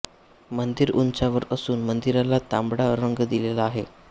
मंदिर उंचावर असून मंदिराला तांबडा रंग दिलेला आहे